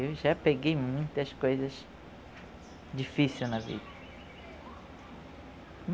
Eu já peguei muitas coisas difícil na vida.